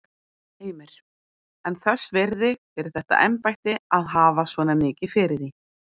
Heimir: En þess virði fyrir þetta embætti að hafa svona mikið fyrir því?